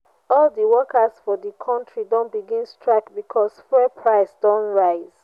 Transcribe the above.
all di workers for di country don begin strike because fuel price don rise.